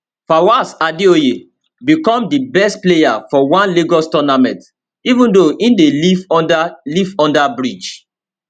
fawaz adeoye become di best player for one lagos tournament even though e dey live under live under bridge